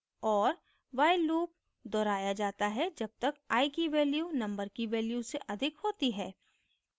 और while loop दोहराया जाता है जब तक i की value number की value से अधिक होती है